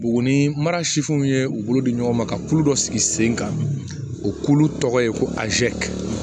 Buguni mara sifinw ye u bolo di ɲɔgɔn ma ka kulu dɔ sigi sen kan o k'ulu tɔgɔ ye ko azɛri